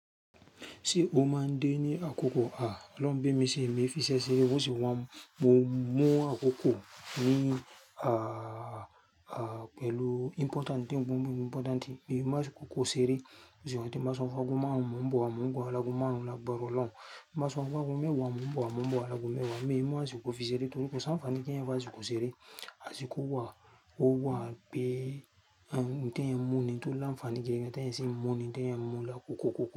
Ṣé o máa ń dé ní àkókò? À, olọ́ún bemí ṣe emi e fiṣẹ́ sere, wọ́n sì wá mú àkókò mi, à, à, pẹ̀lú important and important. Bí mo bá ṣí kókó ṣeré, wọ́n sì wá dé, máa sọ wá gún máa mú ọ̀, mú ọ gba, lagbara ọloun. Máa sọ npe ago mewa n mon bo wa laago mewá mú. Bí mó bá ṣí kókó fi ṣeré tòlẹ́, kí wọn sì wá ní kí ẹ wá ṣí kókó ṣeré, ẹ ṣí kókó wá, ó wá pé, ẹ̀, dé ẹ mú ni tòlẹ́ ń fani kí ẹ dé ẹ sí mú ni, dé ẹ mú lẹ́kọ̀ọ̀ kókó.